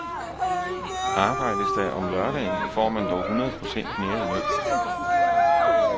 Arbejdes der om lørdagen, får man dog hundrede procent mere i løn.